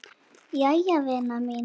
Jæja vina mín.